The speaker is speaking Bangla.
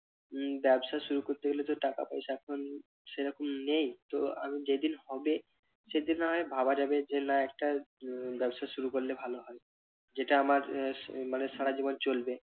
উহ ব্যবসা শুরু করতে গেলে তো টাকা-পয়সা এখন সেরকম নেই তো আবার যেদিন হবে সেদিন না হয় ভাবা যাবে যে না একটা উহ ব্যবসা শুরু করলে ভালো হয় যেটা আমার আহ মানে সারা জীবন চলবে।